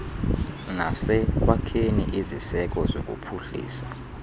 nasekwakheni iziseko zokuphuhlisa